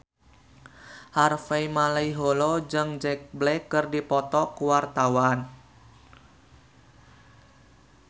Harvey Malaiholo jeung Jack Black keur dipoto ku wartawan